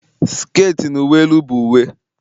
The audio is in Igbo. sket na uwe elu bụ uwe